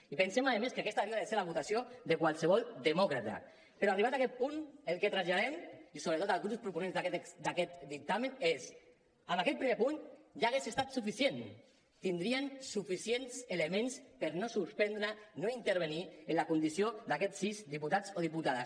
i pensem a més que aquesta hauria de ser la votació de qualsevol demòcrata però arribats en aquest punt el que traslladem i sobretot als grups proponents d’aquest dictamen és amb aquest primer punt ja hauria estat suficient tindrien suficients elements per no suspendre no intervenir en la condició d’aquests sis diputats o diputades